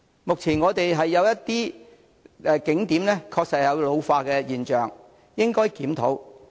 目前，我們的一些景點確實有老化跡象，應予檢討。